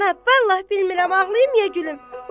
Ana, vallah bilmirəm ağlayım, ya gülüm.